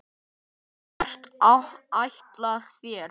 Hvert ætlið þér?